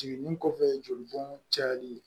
Jiginni kɔfɛ joli bɔn cayali